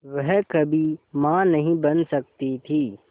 वह कभी मां नहीं बन सकती थी